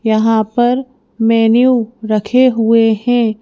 यहां पर मेनू रखे हुए हैं।